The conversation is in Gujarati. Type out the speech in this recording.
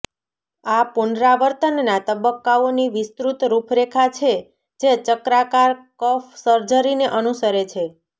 આ પુનરાવર્તનના તબક્કાઓની વિસ્તૃત રૂપરેખા છે જે ચક્રાકાર કફ સર્જરીને અનુસરે છે